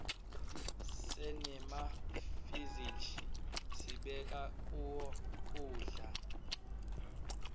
senemafizij sibeka kuwo kudza